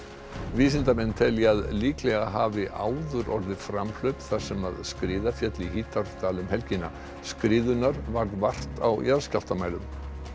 vísindamenn telja að líklega hafi áður orðið framhlaup þar sem skriða féll í Hítardal um helgina skriðunnar varð vart á jarðskjálftamælum